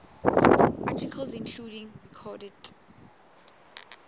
articles including recorded